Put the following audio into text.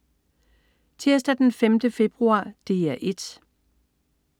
Tirsdag den 5. februar - DR 1: